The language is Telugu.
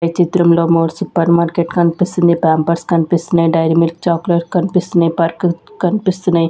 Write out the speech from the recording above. ఈ చిత్రంలో మోర్ సూపర్ మార్కెట్ కన్పిస్తుంది ప్యాంపర్స్ కన్పిస్తున్నాయ్ డైరీ మిల్క్ చాక్లెట్ కన్పిస్తున్నాయ్ పర్క్ కన్పిస్తున్నాయ్.